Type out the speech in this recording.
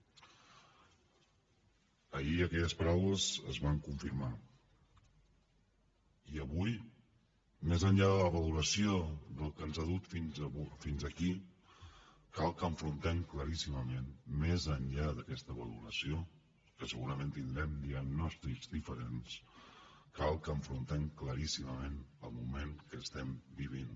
ahir aquelles paraules es van confirmar i avui més enllà de la valoració del que ens ha dut fins aquí cal que enfrontem claríssimament més enllà d’aquesta valoració que segurament tindrem diagnòstics diferents el moment que estem vivint